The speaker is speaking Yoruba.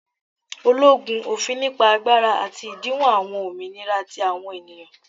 ologun, ofin nipa agbara ati idinwo awọn ominira ti awọn eniyan.